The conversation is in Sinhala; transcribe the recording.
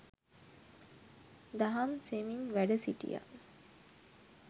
දහම් දෙසමින් වැඩ සිටියා.